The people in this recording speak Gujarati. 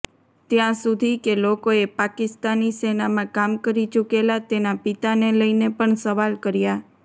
ત્યાં સુધી કે લોકોએ પાકિસ્તાની સેનામાં કામ કરી ચૂકેલા તેના પિતાને લઈને પણ સવાલ કર્યા